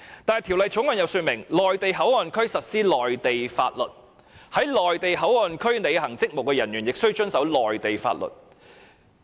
不過，《條例草案》訂明，內地口岸區實施內地法律，在內地口岸區履行職務的人亦須遵守內地法律。